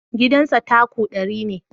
Gidan sa tako ɗari ne